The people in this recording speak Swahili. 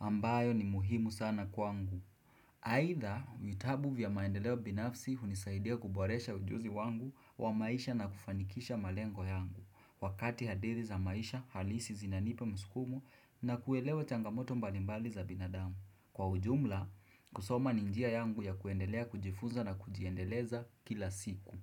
ambayo ni muhimu sana kwa ngu. Haidha vitabu vya maendeleo binafsi hunisaidia kuboresha ujuzi wangu wa maisha na kufanikisha malengo yangu. Wakati hadidhi za maisha, halisi zinanipa msukumo na kuelewa changamoto mbalimbali za binadamu. Kwa ujumla, kusoma ninjia yangu ya kuendelea kujifuza na kujiendeleza kila siku.